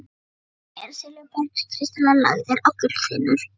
En á brúninni eru silfurbergskristallar lagðir á gullþynnur.